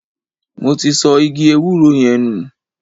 Mo ti sọ igi ewúro yẹn nù.